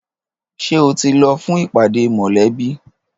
Ṣé o ti lọ fún ìpàdé mọlẹbi?